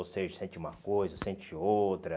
Ou seja, sente uma coisa, sente outra.